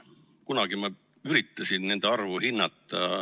Kunagi ma üritasin nende arvu hinnata.